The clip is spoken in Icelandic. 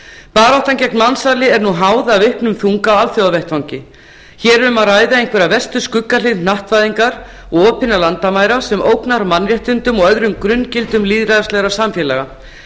baráttan gegn mansali er nú háð af auknum þunga á alþjóðavettvangi hér er um að ræða einhverja verstu skuggahlið hnattvæðingar og opinna landamæra sem ógnar mannréttindum og öðrum grunngildum lýðræðislegra samfélaga